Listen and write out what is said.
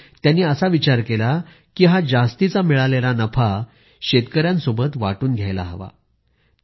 म्हणून त्यांनी असा विचार केला की हा जास्तीचा मिळालेला नफा शेतकऱ्यांसोबत वाटून घ्यायला हवा